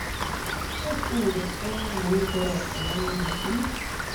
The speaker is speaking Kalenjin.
Tos ingen emet nemitei ropta neo missing?